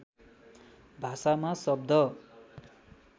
भाषामा शब्द